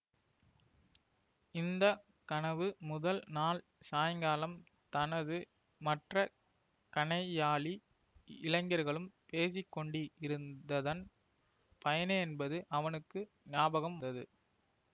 இந்த கனவு முதல் நாள் சாயங்காலம் தனது மற்ற கணையாழி இளைஞர்களும் பேசி கொண்டிருந்ததன் பயனேயென்பது அவனுக்கு ஞாபகம் வந்தது